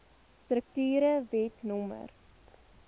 strukture wet no